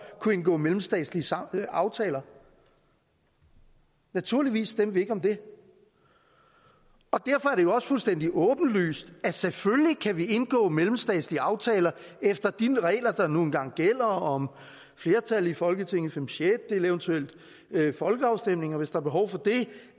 kunne indgå mellemstatslige aftaler naturligvis stemte vi ikke om det og derfor er det jo også fuldstændig åbenlyst at selvfølgelig kan vi indgå mellemstatslige aftaler efter de regler der nu engang gælder om flertal i folketinget fem sjettedele eventuelt folkeafstemninger hvis der er behov for det